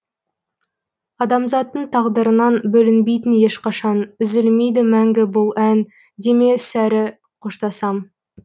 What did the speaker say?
адамзаттың тағдырынан бөлінбейтін ешқашан үзілмейді мәңгі бұл ән деме сірә қоштасам